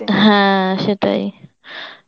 হ্যাঁ সেটাই